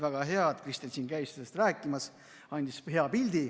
Väga hea, et Kristen käis siin sellest rääkimas ja andis hea pildi.